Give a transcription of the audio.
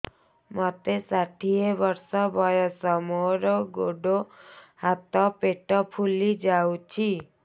ମୋତେ ଷାଠିଏ ବର୍ଷ ବୟସ ମୋର ଗୋଡୋ ହାତ ପେଟ ଫୁଲି ଯାଉଛି